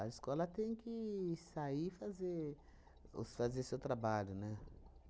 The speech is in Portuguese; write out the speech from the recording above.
escola tem que sair e fazer os fazer o seu trabalho, né?